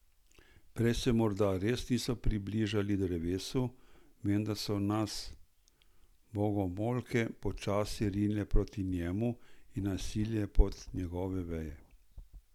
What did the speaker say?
Prej se morda res nismo približali drevesu, vendar so nas bogomolke počasi rinile proti njemu in nas silile pod njegove veje.